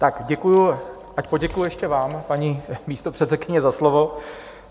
Tak děkuji, tak poděkuji ještě vám, paní místopředsedkyně, za slovo.